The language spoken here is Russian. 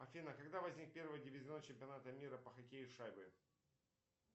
афина когда возник первый дивизион чемпионата мира по хоккею с шайбой